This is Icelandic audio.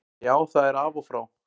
Já, það er af og frá.